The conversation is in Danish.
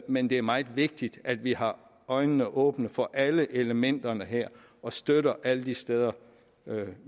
men det er meget vigtigt at vi har øjnene åbne for alle elementerne her og støtter alle de steder